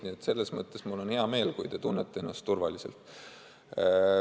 Nii et selles mõttes mul on hea meel, kui te tunnete ennast turvaliselt.